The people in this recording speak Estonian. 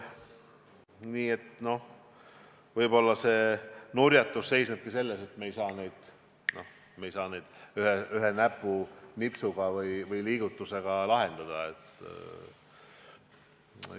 Nii et võib-olla see nurjatus seisnebki selles, et me ei saa neid probleeme ühe näpunipsuga või liigutusega lahendada.